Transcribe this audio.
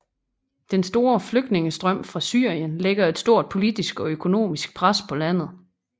Den store flygtningestrøm fra Syrien lægger et stort politisk og økonomisk pres på landet